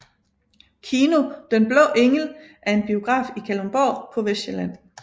Kino Den Blå Engel er en biograf i Kalundborg på Vestsjælland